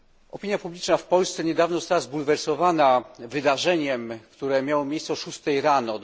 Opinia publiczna w Polsce nie dawno została zbulwersowana wydarzeniem, które miało miejsce o szóstej rano.